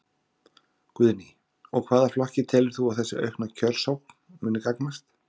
Guðný: Og hvaða flokki telur þú að þessi aukna kjörsókn muni gagnast?